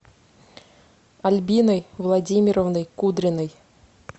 альбиной владимировной кудриной